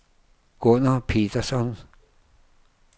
Gunner Petersson